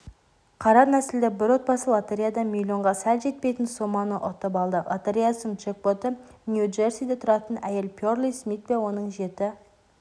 қара нәсілді бір отбасы лотереядан миллионға сәл жетпейтін соманы ұтып алды лотересяның джекпоты нью-джерсиде тұратын әйел пэрли смит пен оның жеті